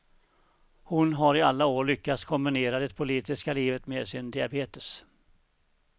Hon har i alla år lyckats kombinera det politiska livet med sin diabetes.